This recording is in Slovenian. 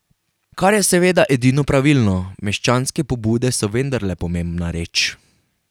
Kar je seveda edino pravilno, meščanske pobude so vendarle pomembna reč.